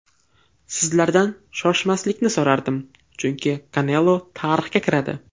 Sizlardan shoshmaslikni so‘rardim, chunki Kanelo tarixga kiradi.